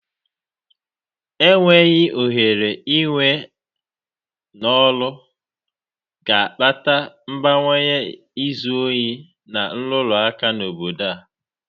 Enweghị ohere i we n'ọrụ ga-akpata mbawanye izi ohi na nrụrụ aka na obodo a.